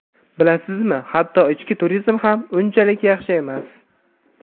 bilasizmi, hatto ichki turizm ham unchalik yaxshi emas.